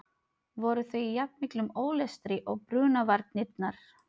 Voru þau í jafn miklum ólestri og brunavarnirnar?